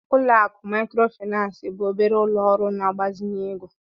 Ụlọ akụ Maịkrofịnansị bụ obere ụlọ ọrụ na-agbazinye ego.